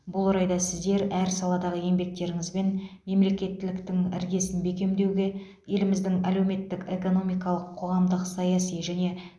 бұл орайда сіздер әр саладағы еңбектеріңізбен мемлекеттіліктің іргесін бекемдеуге еліміздің әлеуметтік экономикалық қоғамдық саяси және